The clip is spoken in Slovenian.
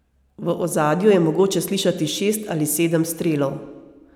V ozadju je mogoče slišati šest ali sedem strelov.